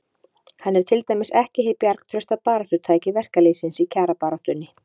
Hann er til dæmis ekki hið bjargtrausta baráttutæki verkalýðsins í kjarabaráttunni.